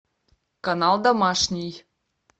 канал домашний